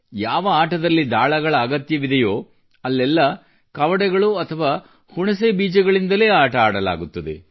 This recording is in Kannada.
ಯಾವ ಆಟದಲ್ಲಿ ದಾಳಗಳ ಅಗತ್ಯವಿದೆಯೋ ಅಲ್ಲೆಲ್ಲ ಕವಡೆಗಳು ಅಥವಾ ಹುಣಸೆಹಣ್ಣಿನ ಬೀಜಗಳಿಂದಲೇ ಕೆಲಸವಾಗುತ್ತದೆ